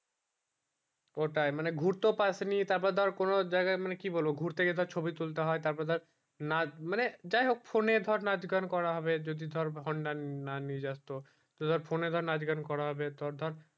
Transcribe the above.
ওইটাই মানে ঘুরতে পাশ নি তার পর ধর কোনো জায়গা মানে কি বলবো ঘুরতে গেলে ছবি তুলতে হয়ে তার পর ধর না যায় হোক phone এ ধর নাচ গান করা হবে যদি ধর হান্নান না নিয়ে যাস তো তো ধর phone এ ধর নাচ গান করা হবে তোর ধর